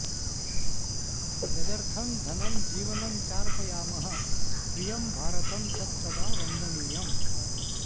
यदर्थं धनं जीवनं चार्पयामः प्रियं भारतं तत्सदा वन्दनीयम्